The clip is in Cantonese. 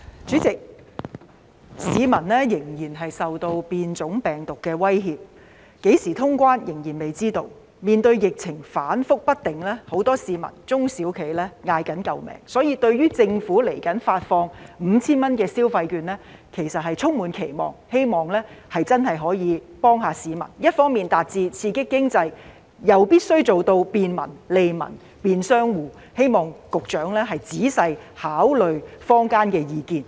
主席，鑒於市民仍然受變種病毒的威脅，何時通關仍然未知，面對疫情反覆不定，很多市民和中小企叫苦連天，因此對於政府未來發放總額 5,000 元的電子消費券實在是充滿期望，希望真的可以幫助市民，一方面達致刺激經濟，又必須做到便民、利民和便商戶，希望局長仔細考慮坊間的意見。